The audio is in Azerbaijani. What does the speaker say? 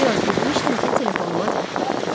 Bir az getmişdim ki, telefonuma zəng gəldi.